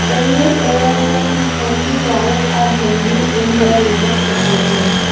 Various earphones mostly wire are hanging in their retail packaging.